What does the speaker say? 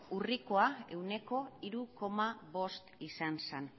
urrikoa ehuneko hiru koma bost izan zen